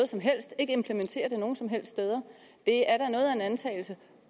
som helst og ikke implementere det nogen som helst steder det er da noget af en antagelse